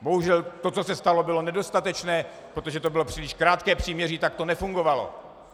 Bohužel to, co se stalo, bylo nedostatečné, protože to bylo příliš krátké příměří, tak to nefungovalo.